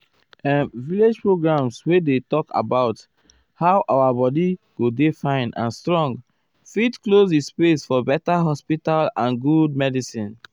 erm village programs wey dey talk about how our body go dey fine and strong fit close di space for beta hospital and good um medicin.